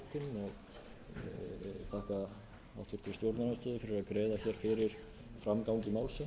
nú um mánaðamótin ég þakka háttvirtum stjórnarandstöðu fyrir að greiða fyrir framgangi málsins og